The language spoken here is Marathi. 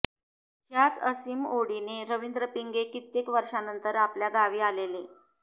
हय़ाच असीम ओढीने रवींद्र पिंगे कित्येक वर्षानंतर आपल्या गावी आलेले